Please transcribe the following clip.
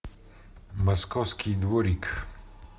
московский дворик